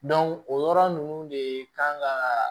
o yɔrɔ ninnu de kan ka